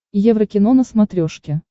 еврокино на смотрешке